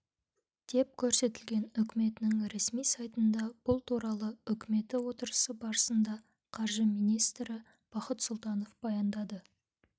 деп көрсетілген үкіметінің ресми сайтында бұл туралы үкіметі отырысы барысында қаржы министрі бақыт сұлтанов баяндады